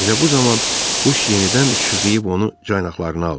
Elə bu zaman quş yenidən şığıyıb onu caynaqlarına aldı.